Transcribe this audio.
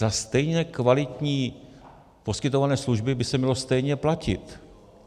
Za stejně kvalitní poskytované služby by se mělo stejně platit.